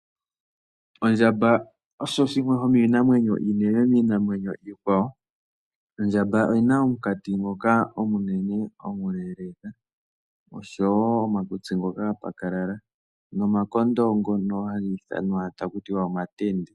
Ondjamba osho shimwe shomiinamwenyo iinene miinamwenyo iikwawo. Ondjamba oyina omukati ngoka omunene, omileeleka oshowo omakutsi ngoka ga pakalala nomakondo ngono haga ithanwa taku tiwa omatenda.